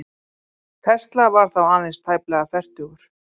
Tesla var þá aðeins tæplega fertugur.